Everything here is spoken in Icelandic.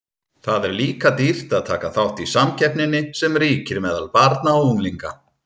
Það er líka dýrt að taka þátt í samkeppninni sem ríkir meðal barna og unglinga.